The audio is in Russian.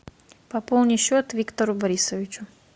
пополни счет виктору борисовичу